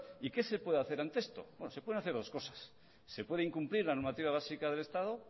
y qué se puede hacer ante esto se pueden hacer dos cosas se puede incumplir la normativa básica del estado